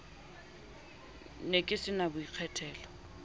ne ke se na boikgethelo